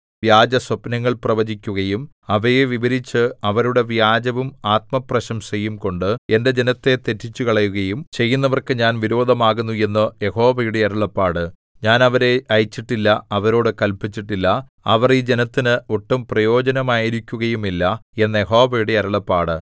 വ്യാജസ്വപ്നങ്ങൾ പ്രവചിക്കുകയും അവയെ വിവരിച്ച് അവരുടെ വ്യാജവും ആത്മപ്രശംസയും കൊണ്ട് എന്റെ ജനത്തെ തെറ്റിച്ചുകളയുകയും ചെയ്യുന്നവർക്ക് ഞാൻ വിരോധമാകുന്നു എന്ന് യഹോവയുടെ അരുളപ്പാട് ഞാൻ അവരെ അയച്ചിട്ടില്ല അവരോടു കല്പിച്ചിട്ടില്ല അവർ ഈ ജനത്തിന് ഒട്ടും പ്രയോജനമായിരിക്കുകയുമില്ല എന്ന് യഹോവയുടെ അരുളപ്പാട്